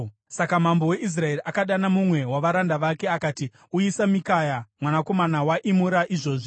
Saka mambo weIsraeri akadana mumwe wavaranda vake akati, “Uyisa Mikaya mwanakomana waImura izvozvi.”